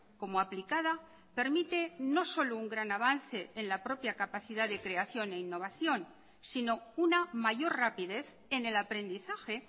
como aplicada permite no solo un gran avance en la propia capacidad de creación e innovación sino una mayor rapidez en el aprendizaje